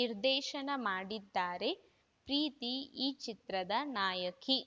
ನಿರ್ದೇಶನ ಮಾಡಿದ್ದಾರೆ ಪ್ರೀತಿ ಈ ಚಿತ್ರದ ನಾಯಕಿ